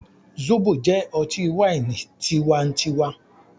Zobo jẹ ọti-waini ti tíwá ń tíwa